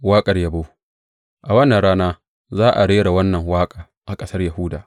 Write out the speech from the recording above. Waƙar yabo A wannan rana za a rera wannan waƙa a ƙasar Yahuda.